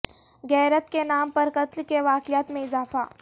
غیرت کے نام پر قتل کے واقعات میں اضافہ